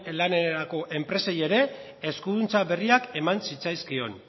lanerako enpresei ere eskuduntza berriak eman zitzaizkion